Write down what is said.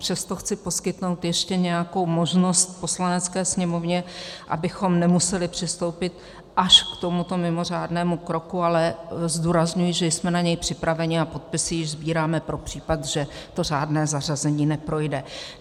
Přesto chci poskytnout ještě nějakou možnost Poslanecké sněmovně, abychom nemuseli přistoupit až k tomuto mimořádnému kroku, ale zdůrazňuji, že jsme na něj připraveni a podpisy již sbíráme pro případ, že to řádné zařazení neprojde.